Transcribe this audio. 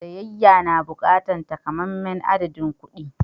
Siyayya na buƙatar takamaiman adadin kuɗi.